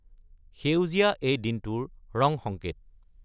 সেউজীয়া এই দিনটোৰ ৰং সংকেত।